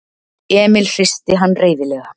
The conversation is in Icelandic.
Emil hristi hann reiðilega.